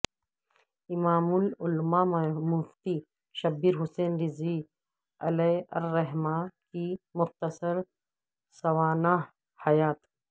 امام العلماء مفتی شبیر حسن رضوی علیہ الرحمہ کی مختصر سوانح حیات